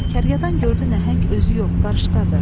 Kərkədan gördü nəhəng özü yox, qarışqadır.